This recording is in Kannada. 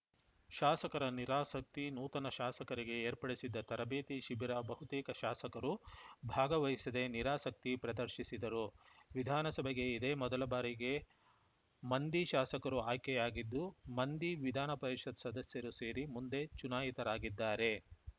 ಶಾಸಕರ ನಿರಾಸಕ್ತಿ ನೂತನ ಶಾಸಕರಿಗೆ ಏರ್ಪಡಿಸಿದ್ದ ತರಬೇತಿ ಶಿಬಿರ ಬಹುತೇಕ ಶಾಸಕರು ಭಾಗವಹಿಸದೆ ನಿರಾಸಕ್ತಿ ಪ್ರದರ್ಶಿಸಿದರು ವಿಧಾನಸಭೆಗೆ ಇದೇ ಮೊದಲ ಬಾರಿಗೆ ಮಂದಿ ಶಾಸಕರು ಆಯ್ಕೆಯಾಗಿದ್ದು ಮಂದಿ ವಿಧಾನಪರಿಷತ್‌ ಸದಸ್ಯರು ಸೇರಿ ಮುಂದೆ ಚುನಾಯಿತರಾಗಿದ್ದಾರೆ